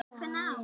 Ég er nörd.